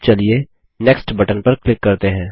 अब चलिए नीचे नेक्स्ट बटन पर क्लिक करते हैं